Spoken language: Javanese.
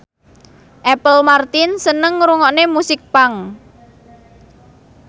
Apple Martin seneng ngrungokne musik punk